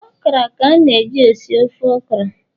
okra ka na e ji-esi ofe okra